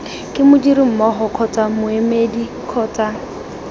ke modirimmogo kgotsa moemedi kgotsa